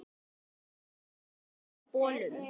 Ég kaupi mikið af bolum.